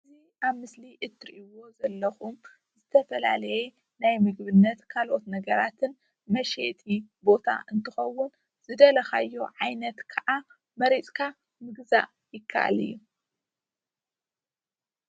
እዚ ኣብ ምስሊ እትሪእዎ ዘለኹም ዝተፈላለዩ ናይ ምግብነት ካልኦት ነገራትን መሸጢ ቦታ እንትኸውን ዝደለኻዮ ዓይነት ከዓ መሪፅካ ምግዛእ ይካኣል እዩ።